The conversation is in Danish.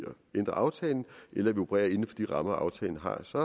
ændre aftalen eller at vi opererer inden de rammer aftalen har så